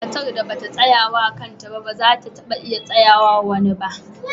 Matar da ba ta tsaya wa kanta ba, ba za ta taba iya tsayawa wa wani ba.